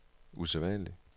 usædvanlig